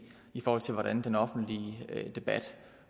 i forhold til hvordan den offentlige debat